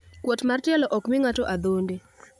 Kuot mar tielo okmi ng`ato adhonde.